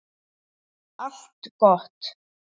Allt gott.